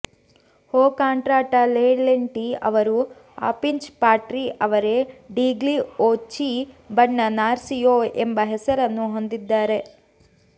ಹೋ ಕಾಂಟ್ರಾಟಾ ಲೆ ಲೆಂಟಿ ಅವರು ಅಫಿಂಚ್ ಪಾಟ್ರಿ ಆವೆರೆ ಡೀಗ್ಲಿ ಓಚಿ ಬಣ್ಣ ನಾರ್ಸಿಯೊ ಎಂಬ ಹೆಸರನ್ನು ಹೊಂದಿದ್ದಾರೆ